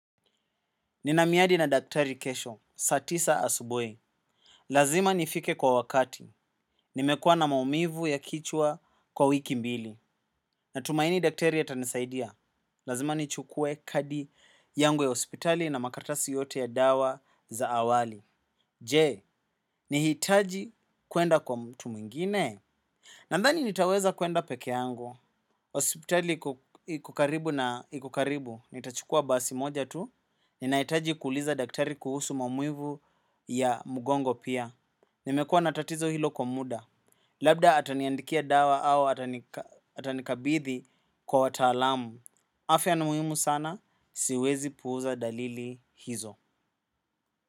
Ninamiadi na daktari kesho, saa tisa asubui. Lazima nifike kwa wakati. Nimekua na maumivu ya kichwa kwa wiki mbili. Natumaini daktari atanisaidia. Lazima nichukue kadi yangu ya hospitali na makartasi yote ya dawa za awali. Je, nihitaji kuenda kwa mtu mwingine. Nandhani nitaweza kuenda peke yangu. Hospitali iko karibu na iko karibu. Nitachukua basi moja tu. Ni nahitaji kuuliza daktari kuhusu maumivu ya mugongo pia. Nimekua na tatizo hilo kwa muda. Labda ataniandikia dawa au atanikabithi kwa watalamu. Afya ni muhimu sana, siwezi puuza dalili hizo.